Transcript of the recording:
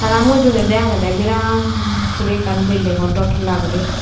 tara mujungedi agede birat guri ekkan building gor dow tala guri.